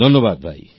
ধন্যবাদ ভাই